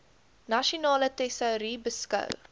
nasionale tesourie beskou